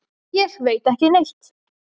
Ég veit ekki neitt.